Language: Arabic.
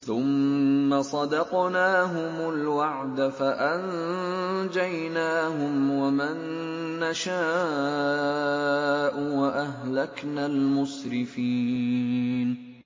ثُمَّ صَدَقْنَاهُمُ الْوَعْدَ فَأَنجَيْنَاهُمْ وَمَن نَّشَاءُ وَأَهْلَكْنَا الْمُسْرِفِينَ